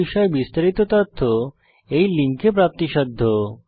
এই বিষয়ে বিস্তারিত তথ্য এই লিঙ্কে প্রাপ্তিসাধ্য